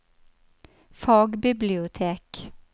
fagbibliotek